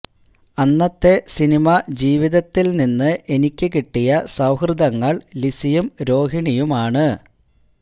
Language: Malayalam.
അന്നത്തെ സിനിമാ ജീവിതത്തില് നിന്ന് എനിക്ക് കിട്ടിയ സൌഹൃദങ്ങള് ലിസിയും രോഹിണിയുമാണ്